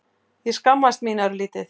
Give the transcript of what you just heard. Ég skammaðist mín örlítið.